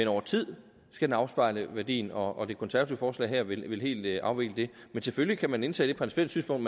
over tid skal den afspejle værdien og det konservative forslag her vil helt afvikle det men selvfølgelig kan man indtage det principielle synspunkt